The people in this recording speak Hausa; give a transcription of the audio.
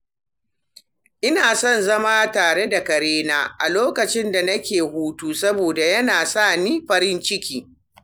Ina son zama tare da karena a lokacin da nake hutu saboda yana sa ni farin ciki.